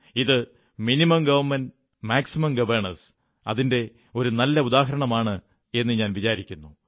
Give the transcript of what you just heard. ഇത് കുറഞ്ഞ ഗവണ്മെന്റ് പരമാവധി ഭരണനിർവ്വഹണം എന്നതിന്റെ ഒരു നല്ല ഉദാഹരണമാണെന്നു ഞാൻ വിചാരിക്കുന്നു